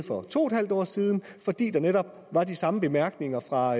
for to en halv år siden fordi der netop var de samme bemærkninger fra